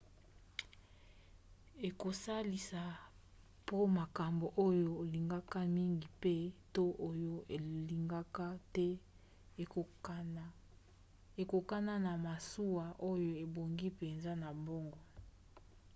ekosalisa po makambo oyo olingaka mingi pe/to oyo olingaka te ekokana na masuwa oyo ebongi mpenza na bango